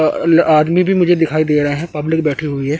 अ ल आदमी भी मुझे दिखाई दे रहा है पब्लिक बैठी हुई हैं।